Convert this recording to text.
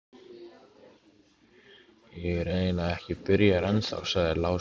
Ég er eiginlega ekki byrjaður ennþá, sagði Lási.